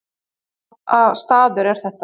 Hvaða staður er þetta